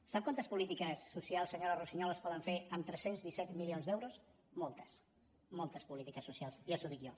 sap quantes polítiques socials senyora russiñol es poden fer amb tres cents i disset milions d’euros moltes moltes polítiques socials ja li ho dic jo